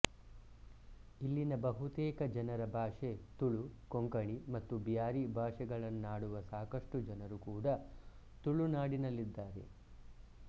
ಇಲ್ಲಿನ ಬಹುತೇಕ ಜನರ ಭಾಷೆ ತುಳು ಕೊಂಕಣಿ ಮತ್ತು ಬ್ಯಾರಿ ಭಾಷೆಗಳನ್ನಾಡುವ ಸಾಕಷ್ಟು ಜನರು ಕೂಡ ತುಳುನಾಡಿನಲ್ಲಿದ್ದಾರೆ